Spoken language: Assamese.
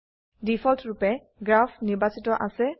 ডিফল্টৰুপে গ্ৰাফ নিৰ্বাচিত আছে